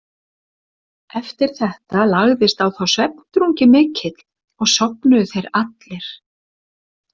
Eftir þetta lagðist á þá svefndrungi mikill og sofnuðu þeir allir.